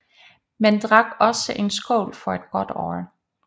Man drak også en skål for et godt år